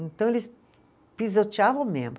Então, eles pisoteavam mesmo.